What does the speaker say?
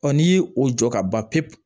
n'i y'o o jɔ ka ban pewu